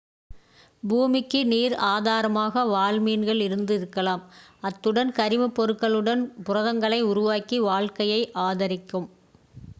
பூமிக்கு நீர் ஆதாரமாக வால்மீன்கள் இருந்து இருக்கலாம் அத்துடன் கரிமப் பொருட்களுடன் புரதங்களை உருவாக்கி வாழ்க்கையை ஆதரிக்கும்